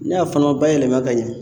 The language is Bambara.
Ne a fana ma bayɛlɛma ka ɲɛ.